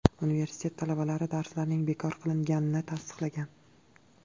Universitet talabalari darslarning bekor qilinganini tasdiqlagan.